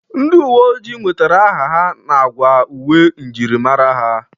Ndị uwe oji nwetara aha ha n'agwa uwe myirimara ha.